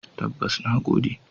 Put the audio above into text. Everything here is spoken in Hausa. Tabbas, na gode.